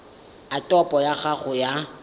a topo ya gago ya